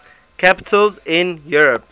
capitals in europe